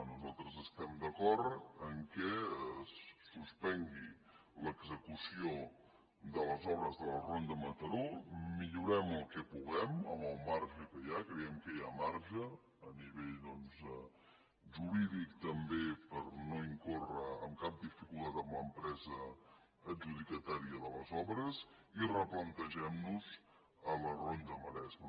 nosaltres estem d’acord que es suspengui l’execució de les obres de la ronda mataró millorem el que puguem amb el marge que hi ha creiem que hi ha marge a nivell jurídic també per no incórrer en cap dificultat amb l’empresa adjudicatària de les obres i replantegem nos la ronda maresme